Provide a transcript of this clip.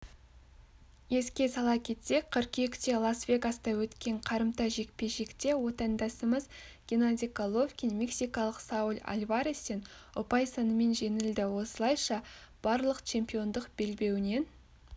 еске сала кетсек қыркүйекте лас-вегаста өткен қарымта жекпе-жекте отандасымыз геннадий головкин мексикалық сауль альварестен ұпай санымен жеңілді осылайша барлық чемпиондық белбеуінен